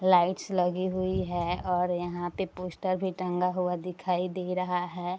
Lights लगी हुई है और यहाँ पे पोस्टर भी टाँगा हुआ दिखाई दे रहा है।